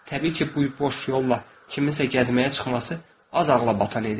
Təbii ki, bu boş yolla kiminsə gəzməyə çıxması az ağlabatan idi.